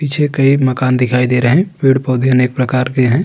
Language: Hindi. पीछे कई माकन दिखाई दे रहें हैं पेड़-पौधे अनेक प्रकार के हैं।